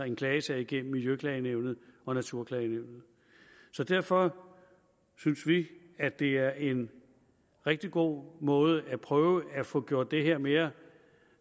en klagesag igennem miljøklagenævnet og naturklagenævnet derfor synes vi at det er en rigtig god måde at prøve at få gjort det her mere